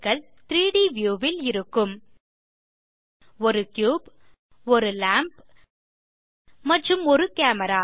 3ட் வியூ ல் இருக்கும் ஒரு கியூப் ஒரு லாம்ப் மற்றும் ஒரு கேமரா